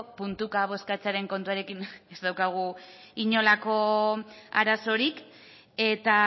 puntuka bozkatzearen kontuarekin ez daukagu inolako arazorik eta